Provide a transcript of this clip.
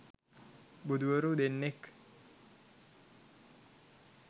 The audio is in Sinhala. බුදුවරු දෙන්නෙක්